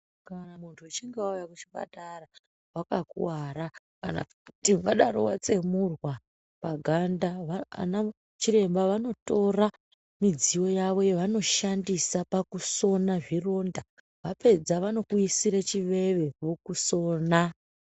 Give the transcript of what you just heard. Kana muntu uchinge wauye kuchipatara wakakuwara kana kuti wadaro watsemurwa ganda anachiremba vanotora midziyo yavo yavanoshandisa pakusona zvironda vapedza vanokuisire chiveve vokusona.